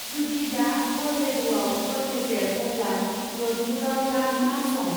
जुदि दा कलरेड'आव हर गेजेर अब्ला ज'धपुराव दा मा सम?